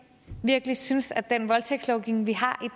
virkelig synes at den voldtægtslovgivning vi har